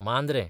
Mandrem